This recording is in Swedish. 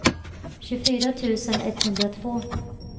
tjugofyra tusen etthundratvå